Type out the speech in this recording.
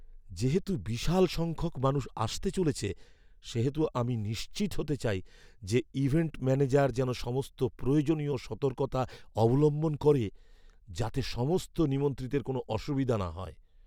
যেহেতু বিশাল সংখ্যক মানুষ আসতে চলেছে, সেহেতু আমি নিশ্চিত হতে চাই যে ইভেন্ট ম্যানেজার যেন সমস্ত প্রয়োজনীয় সতর্কতা অবলম্বন করে, যাতে সমস্ত নিমন্ত্রিতের কোনওরকম অসুবিধা না হয়।